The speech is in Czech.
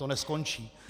To neskončí.